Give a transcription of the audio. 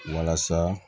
Walasa